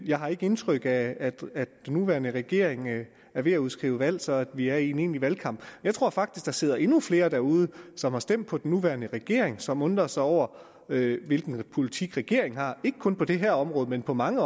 jeg har ikke indtryk af at den nuværende regering er ved at udskrive valg så vi er i en egentlig valgkamp jeg tror faktisk der sidder endnu flere derude som har stemt på den nuværende regering og som undrer sig over hvilken politik regeringen har ikke kun på det her område men på mange